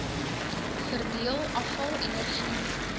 verdeel afval energie